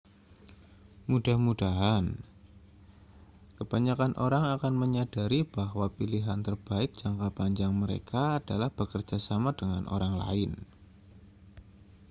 mudah-mudahan kebanyakan orang akan menyadari bahwa pilihan terbaik jangka panjang mereka adalah bekerja sama dengan orang lain